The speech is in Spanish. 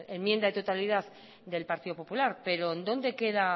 enmienda de totalidad del partido popular pero dónde queda